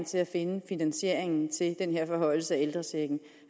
til at finde finansieringen til den her forhøjelse